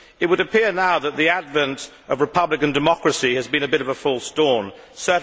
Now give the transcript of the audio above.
It would appear now that the advent of republican democracy has been a bit of a false dawn.